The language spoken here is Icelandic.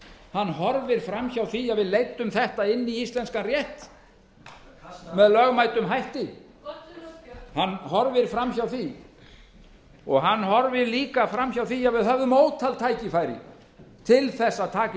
hann horfir fram hjá því að við leiddum þetta inn í íslenskan rétt með lögmætum hætti og hann horfir líka fram hjá því að við höfðum ótal tækifæri til að taka í